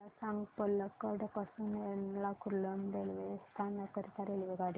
मला सांग पलक्कड पासून एर्नाकुलम रेल्वे स्थानक करीता रेल्वेगाडी